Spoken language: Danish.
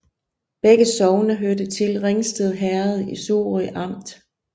Begge sogne hørte til Ringsted Herred i Sorø Amt